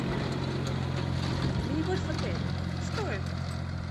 мини гольф в отеле что это